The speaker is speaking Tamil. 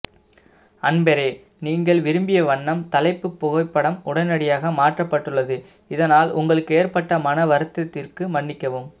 அன்பரே நீங்கள் விரும்பிய வண்ணம் தலைப்பு புகைப்படம் உடனடியாக மற்றப் பட்டுள்ளது இதனால் உங்களுக்கு ஏற்ப்பட்ட மன வருத்தத்திற்கு மன்னிக்கவும்